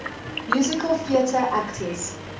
musical theatre actors